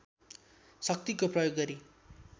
शक्तिको प्रयोग गरी